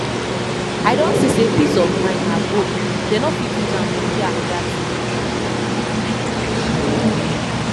i don see say peace of mind na gold dem no fit use am compare anoda thing